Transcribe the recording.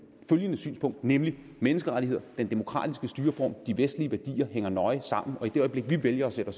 følgende synspunkt nemlig menneskerettigheder den demokratiske styreform de vestlige værdier hænger nøje sammen og i det øjeblik vi vælger at sætte